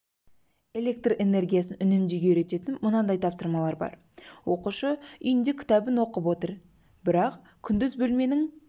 электр энергиясын үнемдеуге үйрететін мынадай тапсырмалар бар оқушы үйінде кітабын оқып отыр бірақ күндіз бөлменің